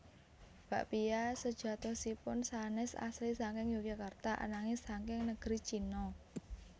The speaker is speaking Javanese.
Bakpia sajatosipun sanés asli saking Yogyakarta ananging saking negeri China